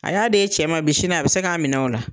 A y'a d'e ye cɛ ma bi , sini a be se ka minɛ o la.